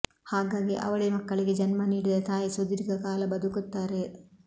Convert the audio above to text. ಹಾಗಾಗಿ ಅವಳಿ ಮಕ್ಕಳಿಗೆ ಜನ್ಮ ನೀಡಿದ ತಾಯಿ ಸುದೀರ್ಘ ಕಾಲ ಬದುಕುತ್ತಾರೆ